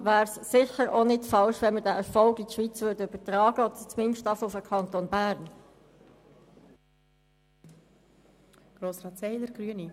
deshalb wäre es sicher nicht falsch, diesen Erfolg in die Schweiz oder zumindest mal in den Kanton Bern zu übertragen.